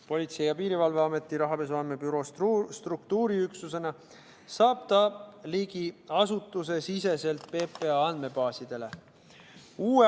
Politsei- ja Piirivalveameti rahapesu andmebüroo struktuuriüksusena saab ta ligi asutusesiseselt PPA andmebaasidele.